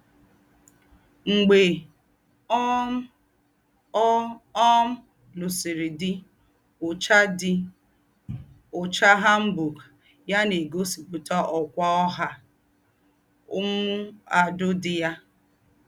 Mgbè um ọ̀ um lùsìrì dí, úchà dí, úchà hanbok yá nà-ègósípùtà ọ́kwá ọ̀hà m̀mùàdù dí yá.